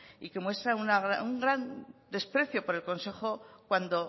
y que muestra un gran desprecio por el consejo cuando